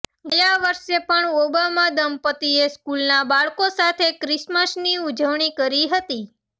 ગયા વર્ષે પણ ઓબામા દંપત્તિએ સ્કૂલના બાળકો સાથે ક્રિસમસની ઉજવણી કરી હતી